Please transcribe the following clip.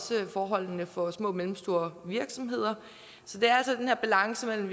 til forholdene for små og mellemstore virksomheder så det er altså den her balance mellem